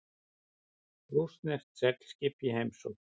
Rússneskt seglskip í heimsókn